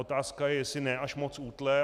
Otázka je, jestli ne až moc útle.